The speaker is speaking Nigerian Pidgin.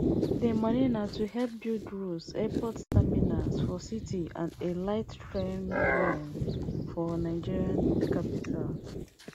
di money na to help build roads airport terminals for cities and a lightrail line for nigeria capital